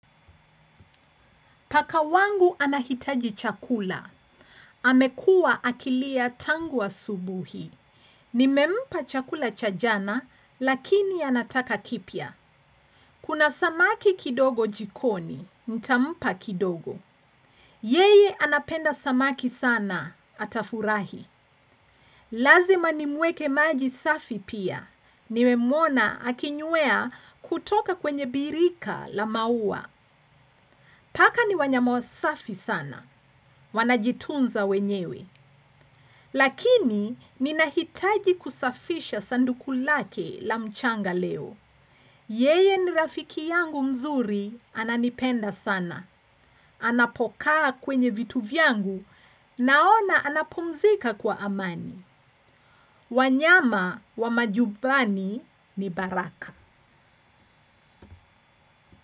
Paka wangu anahitaji chakula. Amekua akilia tangu asubuhi. Nimempa chakula cha jana, lakini anataka kipya. Kuna samaki kidogo jikoni, nitampa kidogo. Yeye anapenda samaki sana, atafurahi. Lazima nimwekee maji safi pia. Nimemwona akinywea kutoka kwenye birika la maua. Paka ni wanyama wasafi sana. Wanajitunza wenyewe. Lakini ninahitaji kusafisha sanduku lake la mchanga leo. Yeye ni rafiki yangu mzuri ananipenda sana. Anapokaa kwenye vitu vyangu naona anapumzika kwa amani. Wanyama wa majumbani ni baraka.